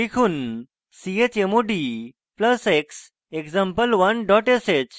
লিখুন chmod plus x example1 dot sh